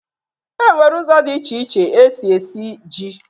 E nwere ụzọ dị iche iche e si esi ji